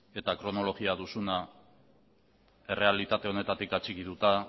eta kronologia duzuna errealitate honetatik atxikituta